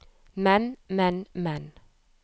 men men men